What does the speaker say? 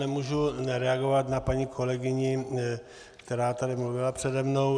Nemůžu nereagovat na paní kolegyni, která tady mluvila přede mnou.